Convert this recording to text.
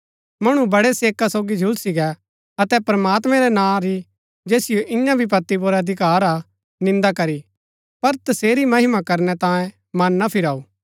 मणु बड़ै सेका सोगी झुलसी गै अतै प्रमात्मैं रै नां री जैसिओ इन्या विपत्ति पुर अधिकार हा निन्दा करी पर तसेरी महिमा करनै तांयें मन ना फिराऊ